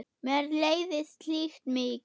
Mér leiðist slíkt mikið.